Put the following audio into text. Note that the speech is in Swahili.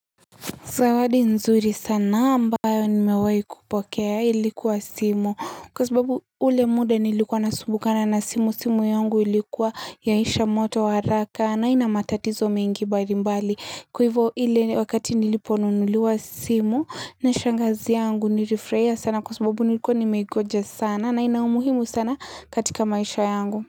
Zawadi nzuri sana ambayo nimewai kupokea ilikuwa simu kwa sababu ule muda nilikuwa nasumbukana na simu simu yungu ilikuwa yaisha moto wa raka na inamatatizo mengi barimbali kuivo ile wakati niliponunuliwa simu na shangazi yangu nilifreya sana kwa sababu nilikuwa nimegoja sana na inaumuhimu sana katika maisha yangu.